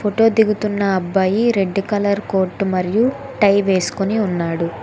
Photo దిగుతున్న అబ్బాయి red colour coat మరియు టై వేస్కోని ఉన్నాడు.